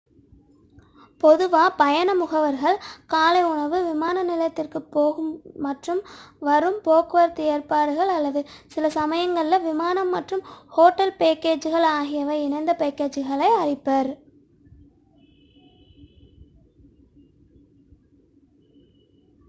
பொதுவாக பயண முகவர்கள் காலை உணவு விமான நிலையத்திற்கு போகும் மற்றும் வரும் போக்குவரத்து ஏற்பாடுகள் அல்லது சில சமயங்களில் விமானம் மற்றும் ஹோட்டல் பேக்கேஜுகள் ஆகியவை இணைந்த பேக்கேஜுகளை அளிப்பர்